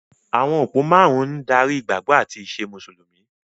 Àwọn òpó márùn-ún ń darí ìgbàgbọ́ àti ìṣe Mùsùlùmí.